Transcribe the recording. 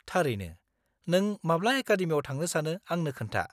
-थारैनो, नों माब्ला एकादेमियाव थांनो सानो आंनो खोन्था।